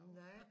Nej